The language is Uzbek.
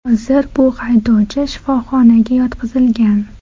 Hozir bu haydovchi shifoxonaga yotqizilgan.